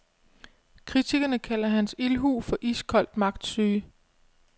Kritikerne kalder hans ildhu for iskold magtsyge.